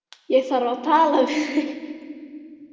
Ég þarf að tala við þig.